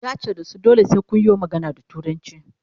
yace da su "dole sai Kun yo magana da turanci"